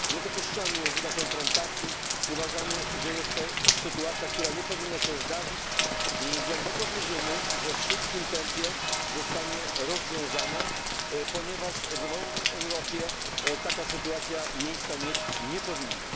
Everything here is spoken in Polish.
Nie dopuszczamy języka konfrontacji, uważamy, że jest to sytuacja, która nie powinna się zdarzyć, i głęboko wierzymy, że w szybkim tempie zostanie rozwiązana, ponieważ w wolnej Europie taka sytuacja miejsca mieć nie powinna.